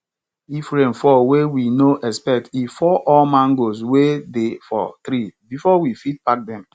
if rain fall wey we no expect e fall all mango wey dey for tree before we fit pack dem